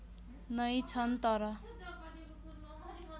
नै छन् तर